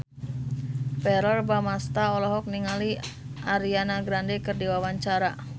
Verrell Bramastra olohok ningali Ariana Grande keur diwawancara